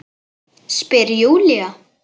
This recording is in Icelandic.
Spyr Júlía.